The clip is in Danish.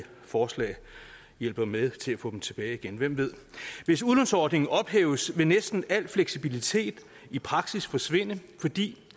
forslag hjælper med til at få dem tilbage igen hvem ved hvis udlånsordningen ophæves vil næsten al fleksibilitet i praksis forsvinde fordi